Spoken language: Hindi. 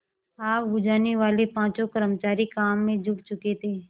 आग बुझानेवाले पाँचों कर्मचारी काम में जुट चुके थे